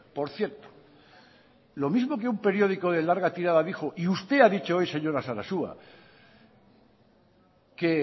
por cierto lo mismo que un periódico de larga tirada dijo y usted ha dicho hoy señora sarasua que